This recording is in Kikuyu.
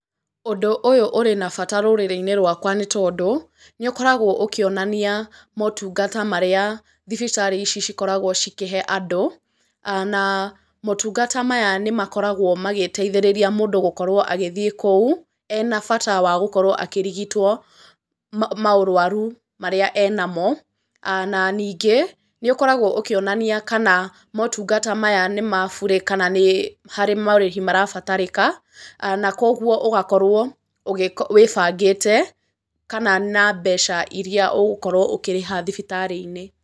Ũndũ ũyũ ũrĩ na bata rũrĩrĩ-inĩ rwakwa nĩ tondũ nĩ ũkoragwo ũkĩonania motungata marĩa thibitarĩ ici cikoragwo cikĩhe andũ, na motungata maya nĩ makoragwo magĩteithĩrĩria mũndũ gũkorwo agĩthiĩ kũu ena bata wa gũkorwo akĩrigitwo maũrwaru marĩa enamo, na ningĩ nĩ ũkoragwo ũkĩonania kana motungata maya nĩ mabure, kana nĩ harĩ marĩhi marabatarĩka, na koguo ũgakorwo wĩbangĩte kana na mbeca iria ũgũkorwo ũkĩrĩha thibitarĩ-inĩ.